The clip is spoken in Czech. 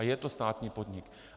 A je to státní podnik.